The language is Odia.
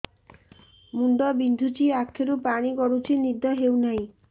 ମୁଣ୍ଡ ବିନ୍ଧୁଛି ଆଖିରୁ ପାଣି ଗଡୁଛି ନିଦ ହେଉନାହିଁ